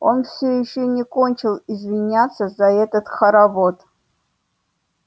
он все ещё не кончил извиняться за этот хоровод